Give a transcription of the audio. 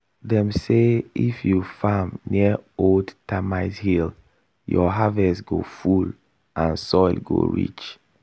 dem say if you farm near old termite hill your harvest go full and soil go rich.